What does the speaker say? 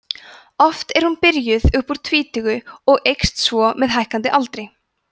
oft er hún byrjuð upp úr tvítugu og eykst svo með hækkandi aldri